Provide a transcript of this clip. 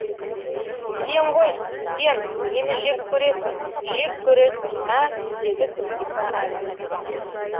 сен ғой сен мені жек көресің жек көресің ә деді күнзипа әлден соң